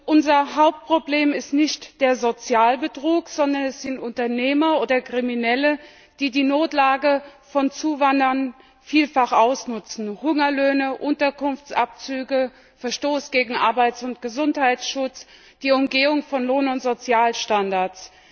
Unser Hauptproblem ist nicht der Sozialbetrug, sondern es sind Unternehmer oder Kriminelle, die die Notlage von Zuwanderern vielfach ausnutzen Hungerlöhne, Unterkunftsabzüge, Verstoß gegen Arbeits und Gesundheitsschutz, die Umgehung von Lohn und Sozialstandards.